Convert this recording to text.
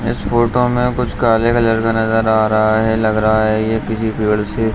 इस फोटो मे कुछ काले कलर का नजर आ रहा है लग रहा है ये किसी पेड़ से --